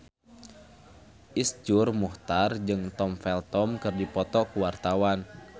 Iszur Muchtar jeung Tom Felton keur dipoto ku wartawan